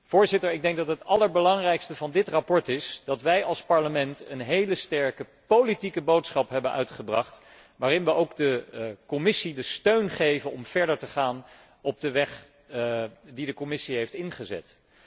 Voorzitter, ik denk dat het allerbelangrijkste van dit verslag is dat wij als Parlement een heel sterke politieke boodschap hebben afgegeven, waarin we ook de Commissie de steun geven om verder te gaan op de weg die zij heeft ingezet.